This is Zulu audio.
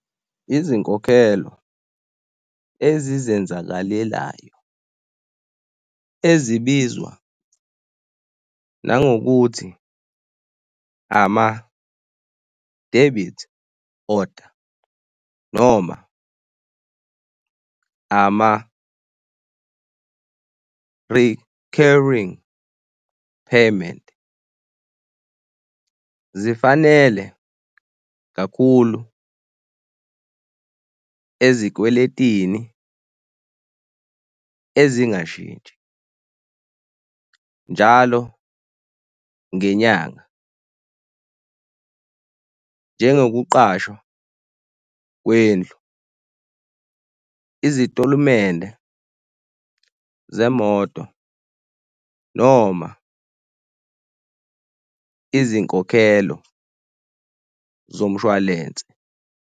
Izinkokhelo ezizenzakalelayo ezibizwa nangokuthi ama-debit order noma ama-recurring payment zifanele kakhulu ezikweletini ezingashintshi njalo ngenyanga, njengokuqashwa kwendlu, izitolemende zemoto noma izinkokhelo zomshwalense.